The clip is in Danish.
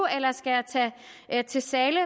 eller til zahles